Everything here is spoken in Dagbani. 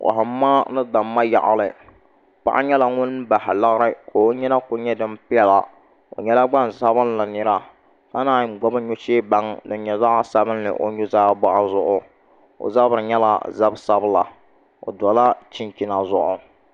Kohamma ni damma yaɣali paɣa nyɛla ŋun bahi lari ka o nyina ku nyɛ din piɛla o nyɛla gbaŋsabinli nira ka naan gbubi nuchɛ baŋ din nyɛ zaɣ sabinli o nuzaa boɣu zuɣu o zabiri nyɛla zabi sabila o dola chinchina zuɣu